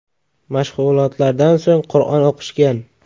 Mashg‘ulotlardan so‘ng Qur’on o‘qishgan.